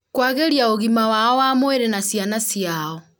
kwagĩria ũgima wao wa mwĩrĩ na ciana ciao